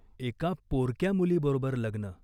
एका पोरक्या मुलीबरोबर लग्न.